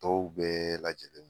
Tɔw bɛɛ lajɛlen.